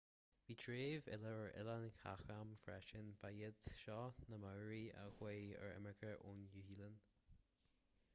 bhí treibh eile ar oileáin chatham freisin ba iad seo na maori a chuaigh ar imirce ón nua-shéalainn